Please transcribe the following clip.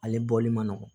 Ale bɔli ma nɔgɔn